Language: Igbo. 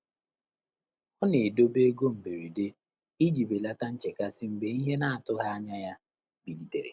Ọ́ nà-édòbé óbèré égo mbèréde ìjí bèlàtà nchékàsị́ mgbè ìhè nà-àtụ́ghị́ ányá yá bìlìtèrè.